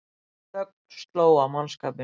Þögn sló á mannskapinn.